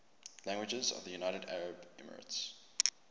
languages of the united arab emirates